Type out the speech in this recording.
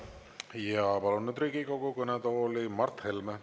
Ja palun nüüd Riigikogu kõnetooli Mart Helme.